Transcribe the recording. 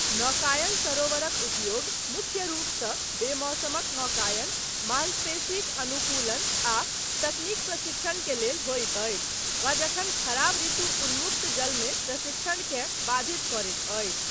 नौकायन सरोवरक उपयोग मुख्य रूपसँ बेमौसमक नौकायन, मांसपेशीक अनुकूलन आ तकनीक प्रशिक्षण के लेल होइत अछि वा जखन खराब ऋतु उन्मुक्त जलमे प्रशिक्षणकेँ बाधित करैत अछि।